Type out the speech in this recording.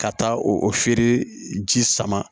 Ka taa o feere ji sama